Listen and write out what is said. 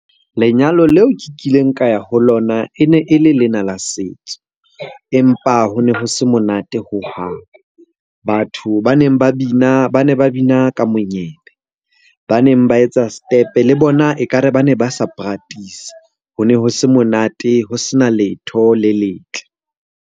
Lenyalo leo ke kileng ka ya ho lona e ne e le lena la setso, empa ho ne ho se monate hohang. Batho ba neng ba bina, ba ne ba bina ka monyebe. Ba neng ba etsa setepe le bona ekare ba ne ba sa practise-a. Ho ne ho se monate, ho sena letho le letle.